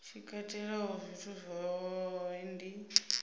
tshi katelaho zwithu zwohe zwi